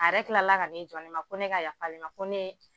A yɛrɛ kila la ka nin jɔ ne ma ko ne ka yaf'ale ma ko ne.